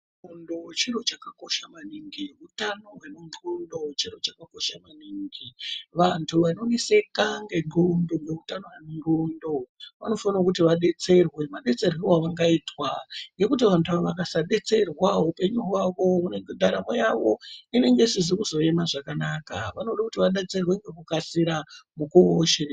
Ndxondo chiro chakakosha maningi , utano hwemundxondo chiro chakakosha maningi vantu vanoneseka ngendxondo nehutano hwendxondo vanofanira kuti vadetserwe , madetserwe avangaitwa ngeekuti vantu ava vakasadetserwa hupenyu hwavo , ndaramo yavo inenge isizi kuzoema zvakanaka vanode kuti vadetserwe nekukasira mukuwo weshe.